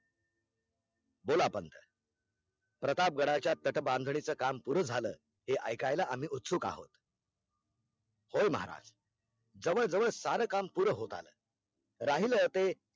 बोला पंथ प्रतापगडाच्या तटबंदीचे काम पूर झालं हे ऐका आम्ही उत्सुक आहोत होय महारज जवळ जवळ सार काम पुर होत आल राहिले ते